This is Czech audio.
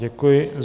Děkuji.